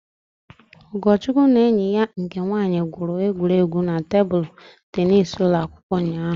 Ugochukwu na enyi ya nke nwaanyị gwuru egwuregwu tebụl teenis n'ụlọ akwụkwọ ụnyaahụ